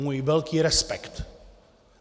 Můj velký respekt!